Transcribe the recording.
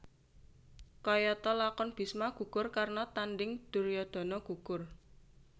Kayata lakon Bisma gugur Karna Tanding Duryudana Gugur